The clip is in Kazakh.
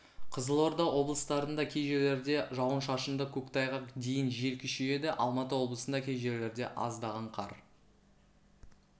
қызылорда облыстарында кей жерлерде жауын-шашынды көктайғақ дейін жел күшейеді алматы облысында кей жерлерде аздаған қар